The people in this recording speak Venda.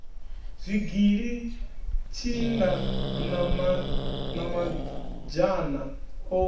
zwigili tshinda na mazhana o